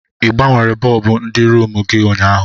Ị gbanwere bọlbụ ndị rumụ gị ụnyaahụ?